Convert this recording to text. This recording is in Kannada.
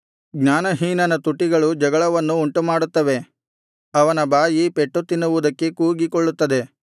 ಜ್ಞಾನಹೀನನ ತುಟಿಗಳು ಜಗಳವನ್ನು ಉಂಟುಮಾಡುತ್ತವೆ ಅವನ ಬಾಯಿ ಪೆಟ್ಟುತಿನ್ನುವುದಕ್ಕೆ ಕೂಗಿಕೊಳ್ಳುತ್ತದೆ